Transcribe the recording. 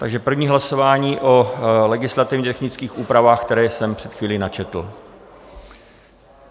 Takže první hlasování o legislativně technických úpravách, které jsem před chvílí načetl.